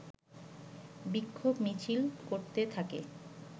বিক্ষোভ মিছিল করতে থাকে